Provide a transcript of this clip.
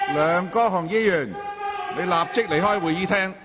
梁國雄議員，立即離開會議廳。